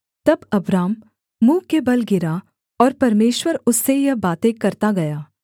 तब अब्राम मुँह के बल गिरा और परमेश्वर उससे यह बातें करता गया